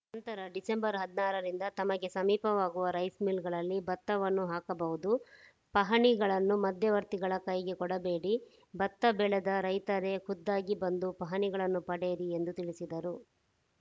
ನಂತರ ಡಿಸೆಂಬರ್ ಹದಿನಾರರಿಂದ ತಮಗೆ ಸಮೀಪವಾಗುವ ರೈಸ್‌ ಮಿಲ್‌ಗಳಲ್ಲಿ ಭತ್ತವನ್ನು ಹಾಕಬಹುದು ಪಹಣಿಗಳನ್ನು ಮಧ್ಯವರ್ತಿಗಳ ಕೈಗೆ ಕೊಡಬೇಡಿ ಭತ್ತ ಬೆಳೆದ ರೈತರೇ ಖುದ್ದಾಗಿ ಬಂದು ಪಹಣಿಗಳನ್ನು ಪಡೆಯಿರಿ ಎಂದು ತಿಳಿಸಿದರು